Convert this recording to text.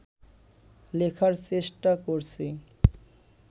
লেখার চেষ্টা করছি